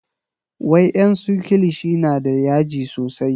wa en su kilishi na da yaji sosai